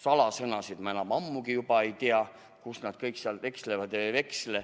salasõnasid ma enam ammugi ei tea, kus nad kõik seal ekslevad ja ei eksle.